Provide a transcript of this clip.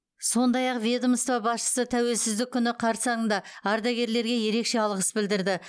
сондай ақ ведомство басшысы тәуелсіздік күні қарсаңында ардагерлерге ерекше алғыс білдірді